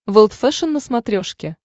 волд фэшен на смотрешке